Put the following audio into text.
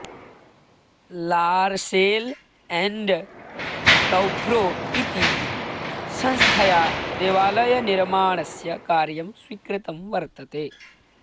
लार्सेल् and Toubro इति संस्थया देवालयनिर्माणस्य कार्यं स्वीकृतं वर्तते